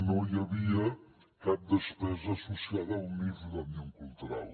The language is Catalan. no hi havia cap despesa associada al nif d’òmnium cultural